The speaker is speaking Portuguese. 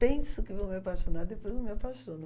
Penso que vou me apaixonar, depois não me apaixono.